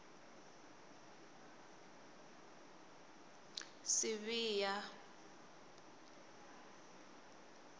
sibiya